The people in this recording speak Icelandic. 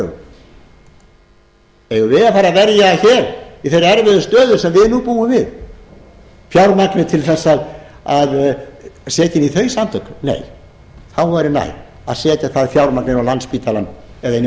hryðjuverkalögum eigum við að að fara að verja hér í þeirri erfiðu stöðu sem við nú búum við fjármagni til þess að setja inn í þau samtök nei þá væri nær að setja það fjármagn inn á landspítalann eða í